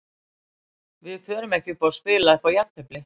Við förum ekki að spila upp á jafntefli.